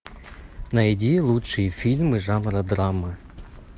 найди лучшие фильмы жанра драма